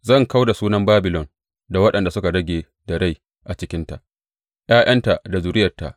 Zan kau da sunan Babilon da waɗanda suka rage da rai a cikinta, ’ya’yanta da zuriyarta,